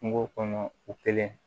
Kungo kɔnɔ u kelen